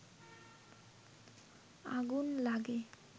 আগুন লাগে